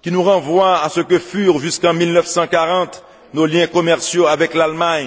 qui nous renvoie à ce que furent jusqu'en 1940 nos liens commerciaux avec l'Allemagne.